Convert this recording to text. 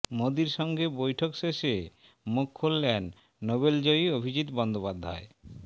মোদীর সঙ্গে বৈঠক শেষে মুখ খুললেন নোবেলজয়ী অভিজিৎ বন্দ্যোপাধ্যায়